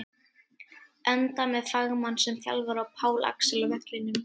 Enda með fagmann sem þjálfara og Pál Axel á vellinum!